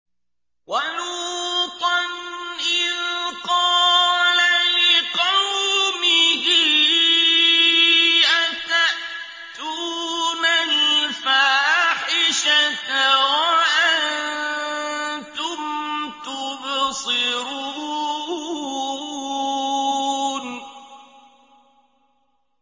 وَلُوطًا إِذْ قَالَ لِقَوْمِهِ أَتَأْتُونَ الْفَاحِشَةَ وَأَنتُمْ تُبْصِرُونَ